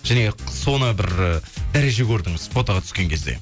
және соны бір ы дәреже көрдіңіз фотоға түскен кезде